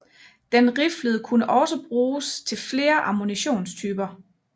Den riflede kunne også bruges til flere ammunitionstyper